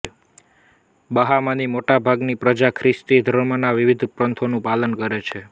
બહામાની મોટાભાગની પ્રજા ખ્રિસ્તી ધર્મના વિવિધ પંથોનુ પાલન કરે છે